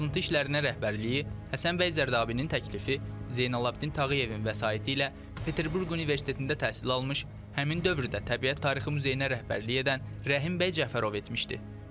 Qazıntı işlərinə rəhbərliyi Həsənbəy Zərdabinin təklifi, Zeynalabdin Tağıyevin vəsaiti ilə Peterburq Universitetində təhsil almış, həmin dövrdə təbiət tarixi muzeyinə rəhbərlik edən Rəhimbəy Cəfərov etmişdi.